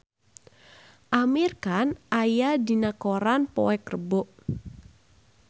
Amir Khan aya dina koran poe Rebo